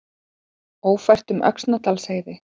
Ófært um Öxnadalsheiði